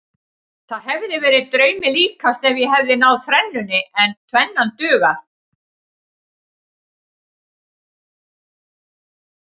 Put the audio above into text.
Það hefði verið draumi líkast ef ég hefði náð þrennunni en tvennan dugar.